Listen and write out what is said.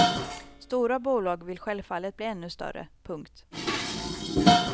Stora bolag vill självfallet bli ännu större. punkt